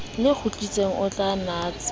le kgutsitseng o sa natse